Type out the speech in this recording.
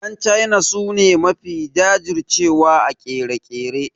Yan China su ne mafi jajir cewa a ƙere-ƙere.